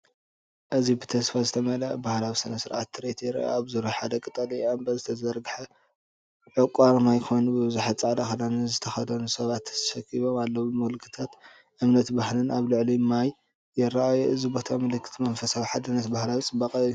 እዚ ብተስፋ ዝተመልአ ባህላዊ ስነ-ስርዓት ትርኢት ይረአ። ኣብ ዙርያ ሓደ ቀጠልያ እምባ ዝተዘርግሐ ዕቋርማይ ኮይኑ ብዙሓት ጻዕዳ ክዳን ዝተኸድኑ ሰባት ተኣኪቦም ኣለዉ። ምልክታት እምነትን ባህልን ኣብ ልዕሊ ማይ ይረኣዩ። እዚ ቦታ ምልክት መንፈሳዊ ሓድነትን ባህላዊ ጽባቐን እዩ።